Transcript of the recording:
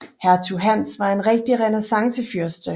Hertug Hans var en rigtig renæssancefyrste